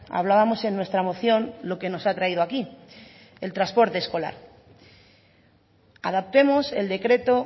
hablábamos en nuestra moción lo que nos ha traído aquí el transporte escolar adaptemos el decreto